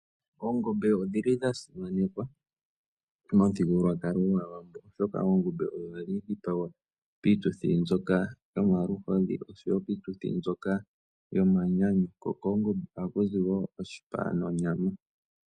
Oongombe odhili dha simanekwa momuthigululwakalo gwAawambo, oshoka oongombe ohadhi dhipagwa piituthi mbyoka yomaluhodhi oshowo piituthi mbyoka yomanyanyu, ko koongombe ohaku zi woo oshipa nonyama.